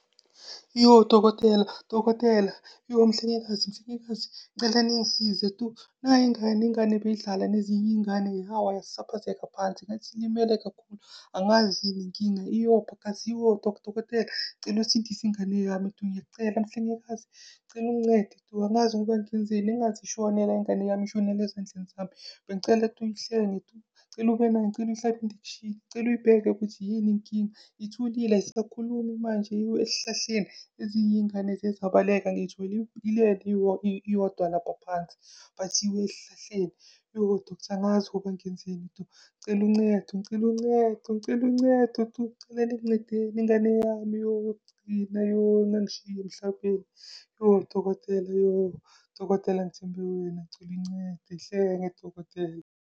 Iyoh, dokotela dokotela! Iyoh, mhlengikazi mhlengikazi! Ngicela ningisize tu? Nayi ingane, ingane beyidlala nezingane iy'ngane yawa yasaphazeka phansi, ngathi ilimele kakhulu. Angazi yini inkinga! Iyopha ! Iyopha, dokotela cela usindise ingane yami tu? Ngiyakucela. Mhlengikazi, cela ungincede tu? Angazi ingaze ishone la ingane yami, ishonele ezandleni zami! Bengicela tu, uyihlenge tu? Cela ube nayo, ngicela . Ngicela uyibheke ukuthi yini inkinga? Ithulile ayisakhulumi manje. Iwe esihlahleni ezinye iy'ngane ziye zabaleka. Ngiyithole ilele iyodwa lapha phansi, bathi iwe esihlahleni. Iyoh, doctor angazi ngenzeni tu. Ngicela uncedo ngicela uncedo ngicela uncedo tu! Ngicela ningincedeni, ingane yami yokugcina. Yoh, ingangishiyi emhlabeni! Yoh, dokotela yoh, dokotela ngithembe wena, ngicela uyincede. Yihlenge dokotela.